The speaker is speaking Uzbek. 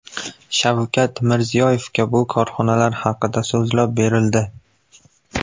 Shavkat Mirziyoyevga bu korxonalar haqida so‘zlab berildi.